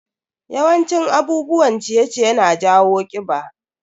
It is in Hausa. Yawan cin abubuwan ciye-ciye na jawo kiɓa.